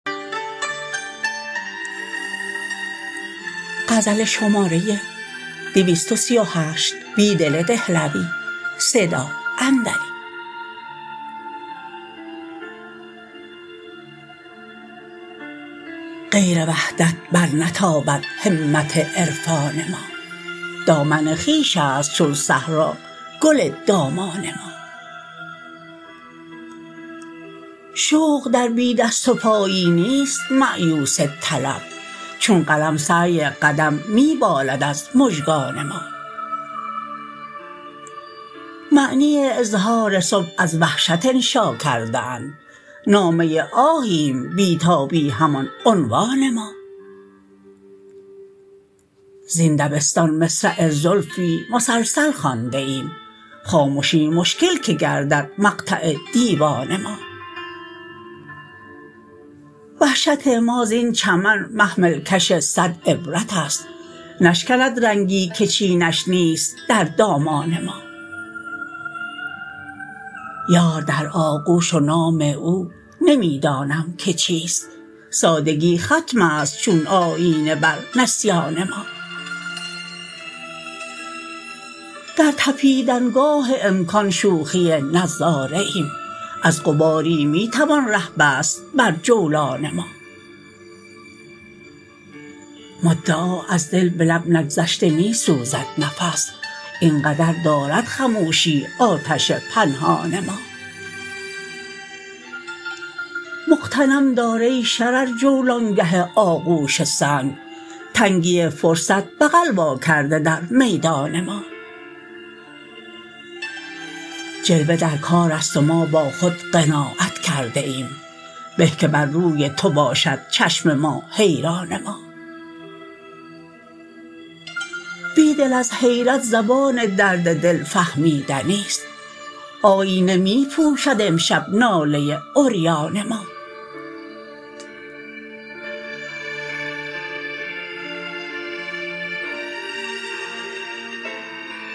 غیر وحدت برنتابد همت عرفان ما دامن خویش است چون صحرا گل دامان ما شوق در بی دست وپایی نیست مأیوس طلب چون قلم سعی قدم می بالد از مژگان ما معنی اظهار صبح از وحشت انشا کرده اند نامه آهیم بی تابی همان عنوان ما زین دبستان مصرع زلفی مسلسل خوانده ایم خامشی مشکل که گردد مقطع دیوان ما وحشت ما زین چمن محمل کش صد عبرت است نشکند رنگی که چینش نیست در دامان ما یار در آغوش و نام او نمی دانم که چیست سادگی ختم است چون آیینه بر نسیان ما در تپیدن گاه امکان شوخی نظاره ایم از غباری می توان ره بست بر جولان ما مدعا از دل به لب نگذشته می سوزد نفس اینقدر دارد خموشی آتش پنهان ما مغتنم دار ای شرر جولانگه آغوش سنگ تنگی فرضت بغل واکرده در میدان ما جلوه در کار است و ما با خود قناعت کرده ایم به که بر روی تو باشد چشم ما حیران ما بیدل از حیرت زبان درد دل فهمیدنی ست آیینه می پوشد امشب ناله عریان ما